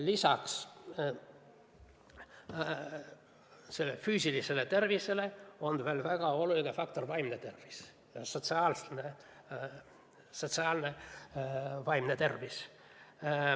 Lisaks füüsilisele tervisele on väga oluline faktor ka vaimne tervis, sotsiaalne vaimne tervis.